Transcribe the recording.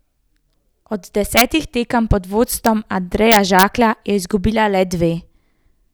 Od desetih tekem pod vodstvom Andreja Žaklja je izgubila le dve.